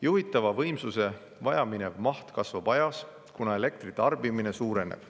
Juhitava võimsuse vajaminev maht kasvab aja jooksul, kuna elektri tarbimine suureneb.